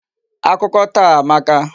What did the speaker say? Akụkọ taa amaka.